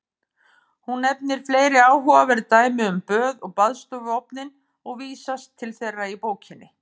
Hún nefnir fleiri áhugaverð dæmi um böð og baðstofuofninn og vísast til þeirra í bókinni.